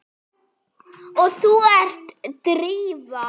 Og þú ert Drífa?